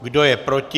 Kdo je proti?